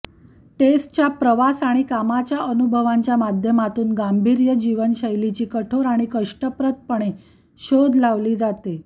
टेसच्या प्रवास आणि कामाच्या अनुभवांच्या माध्यमातून गांभीर्य जीवनशैलीची कठोर आणि कष्टप्रदपणे शोध लावली जाते